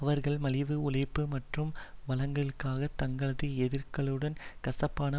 அவர்கள் மலிவு உழைப்பு மற்றும் வளங்களுக்காக தங்களது எதிர்களுடன் கசப்பான